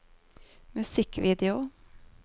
musikkvideo